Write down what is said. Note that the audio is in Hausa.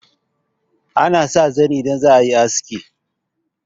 ana sa zani idan za a yi aski